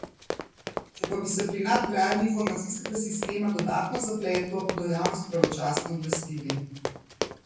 Če pa bi se pri nadgradnji informacijskega sistema dodatno zapletlo, bodo javnost pravočasno obvestili.